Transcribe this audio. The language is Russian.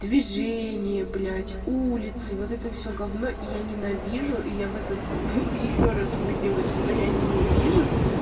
движение блять улицы вот это все я ненавижу я в этот ещё раз убедилась что я ненавижу